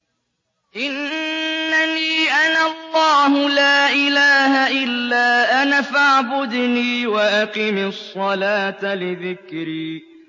إِنَّنِي أَنَا اللَّهُ لَا إِلَٰهَ إِلَّا أَنَا فَاعْبُدْنِي وَأَقِمِ الصَّلَاةَ لِذِكْرِي